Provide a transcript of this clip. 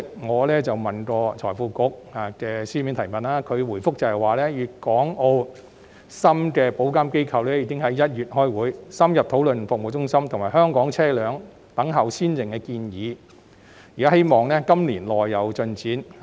我向財庫局局長提出書面質詢，他回覆指廣東、香港、澳門和深圳的保險業監管機構已於1月開會，深入討論服務中心及香港車輛"等效先認"的建議，希望今年內有進展。